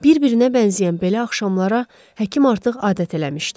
Bir-birinə bənzəyən belə axşamlara həkim artıq adət eləmişdi.